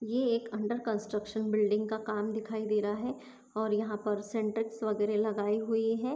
ये एक under construction building का काम दिखाई दे रहा है और यहा पर सिंटेक्स वगैरे लगाई हुई है।